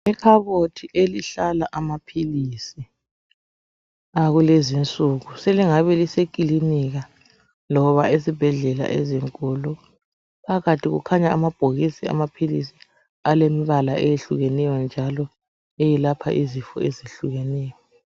Ikhabothi elihlala amaphilisi akulezi insuku. Selingabe lisekilinika loba esibhedlela ezinkulu. Phakathi kukhanya amabhokisi amaphilisi alemibala eyehlukeneyo njalo ayelapha izinto ezehlukeneyo.